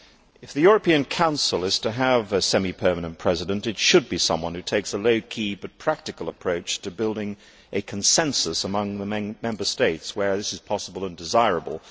If the European Council is to have a semi permanent president, it should be someone who takes a low key but practical approach to building a consensus among the Member States where this is possible and desirable.